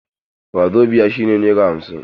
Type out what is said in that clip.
Wazobiya shi ne naira hamsin.